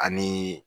Ani